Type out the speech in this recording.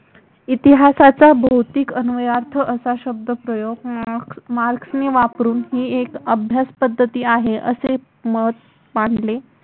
इतिहासाचा भौतिक अन्वयार्थ असा शब्दप्रयोग मार्क्सने वापरून ही एक अभ्यास पद्धती आहे असे मत मांडले.